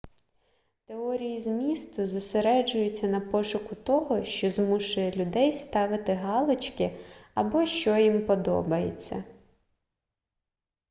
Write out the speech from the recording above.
теорії змісту зосереджуються на пошуку того що змушує людей ставити галочки або що їм подобається